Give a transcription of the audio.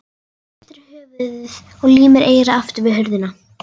Hristir höfuðið og límir eyrað aftur við hurðina.